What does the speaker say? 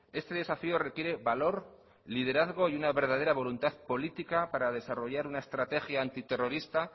este desafío requiere valor liderazgo y una verdadera voluntad política para desarrollar una estrategia antiterrorista